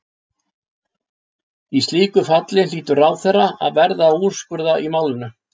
Í slíku falli hlýtur ráðherra að verða að úrskurða í málinu.